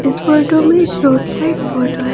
इस फोटो में एक रोड साइड फोटो है।